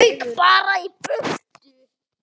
Rauk bara í burtu.